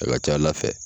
A ka ca ala fɛ